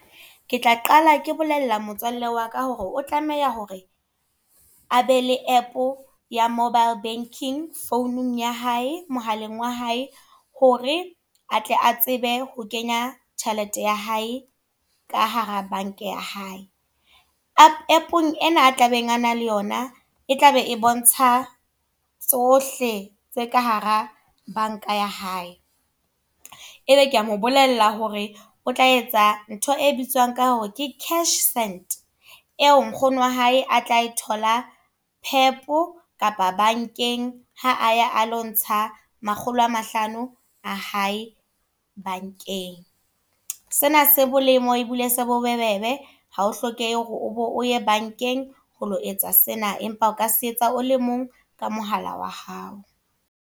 Ke tla qala ke bolella motswalle wa ka hore o tlameha hore, a be le app ya mobile banking founung ya hae, mohaleng wa hae. Hore atle a tsebe ho kenya tjhelete ya hae, ka hara bank-a ya hae. App e na a tlabeng a nang le yona, e tlabe e bontsha tsohle tse ka hara bank-a ya hae. E be ke a mo bolella hore o tla etsa ntho e bitswang ka hore ke cash send. E o nkgono wa hae a tla e thola Pep, kapa bank-eng ha a ya a lo ntsha makgolo a mahlano a hae bank-eng. Sena se molemo e bile se bobebe, hao hlokehe hore o bo o ye bank-eng ho lo etsa sena empa o ka se etsa o le mong ka mohala wa hao.